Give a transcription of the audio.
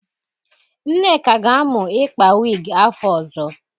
Nneka ga-amụ ikpa wigi afọ ọzọ